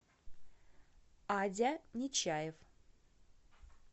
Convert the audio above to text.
адя нечаев